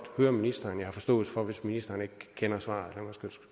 høre ministeren jeg har forståelse for hvis ministeren ikke kender svaret